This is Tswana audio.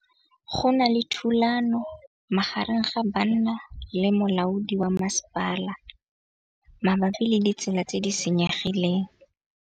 Go na le thulanô magareng ga banna le molaodi wa masepala mabapi le ditsela tse di senyegileng.